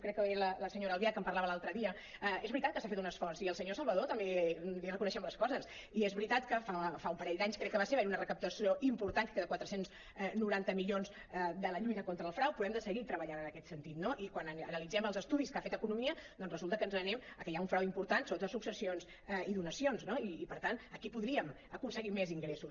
crec que era la senyora albiach que en parlava l’altre dia és veritat que s’ha fet un esforç i al senyor salvadó també li reconeixem les coses i és veritat que fa un parell d’anys crec que va ser va haver·hi una recaptació important de quatre cents i noranta milions de la lluita con·tra el frau però hem de seguir treballant en aquest sentit no i quan analitzem els estudis que ha fet economia doncs resulta que ens anem que hi ha un frau impor·tant sobretot a successions i donacions no i per tant aquí podríem aconseguir més ingressos